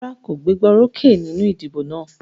Rárá kò gbégbá orókè nínú ìdìbò náà.